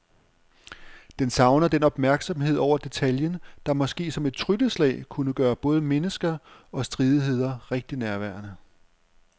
Den savner den opmærksomhed over for detaljen, der måske som et trylleslag kunne gøre både mennesker og stridigheder rigtig nærværende.